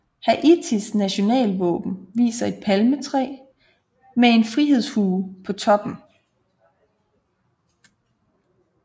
Haitis nationalvåben viser et palmetræ med en frihedshue på toppen